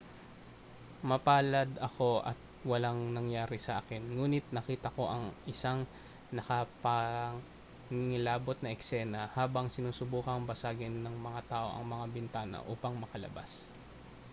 mapalad ako at walang nangyari sa akin nguni't nakita ko ang isang nakapangingilabot na eksena habang sinusubukang basagin ng mga tao ang mga bintana upang makalabas